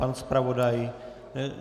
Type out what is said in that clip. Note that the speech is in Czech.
Pan zpravodaj?